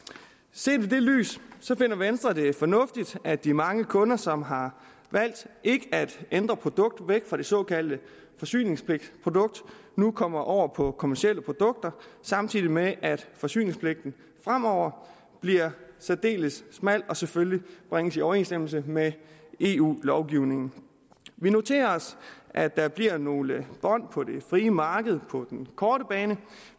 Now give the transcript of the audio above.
set i det lys finder venstre det fornuftigt at de mange kunder som har valgt ikke at ændre produkt væk fra det såkaldte forsyningspligtprodukt nu kommer over på kommercielle produkter samtidig med at forsyningspligten fremover bliver særdeles smal og selvfølgelig bringes i overensstemmelse med eu lovgivningen vi noterer os at der bliver nogle bånd på det frie marked på den korte bane